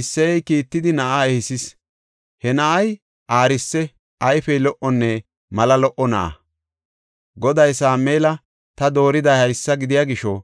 Isseyey kiittidi na7aa ehisis; he na7ay aarise; ayfey lo77onne mala lo77o na7a. Goday Sameela, “Ta dooriday haysa gidiya gisho